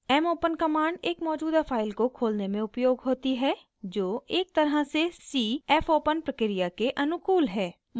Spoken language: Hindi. mopen कमांड एक मौजूदा फाइल को खोलने में उपयोग होती है जो एक तरह से c fopen प्रक्रिया के अनुकूल है